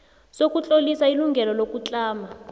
sokutlolisa ilungelo lokutlama